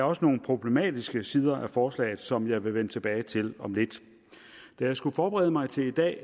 også nogle problematiske sider af forslaget som jeg vil vende tilbage til om lidt da jeg skulle forberede mig til i dag